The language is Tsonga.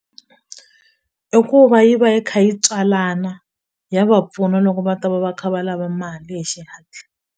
I ku va yi va yi kha yi tswalana ya va pfuna loko va ta va va kha va lava mali hi xihatla.